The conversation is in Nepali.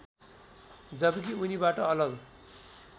जबकि उनीबाट अलग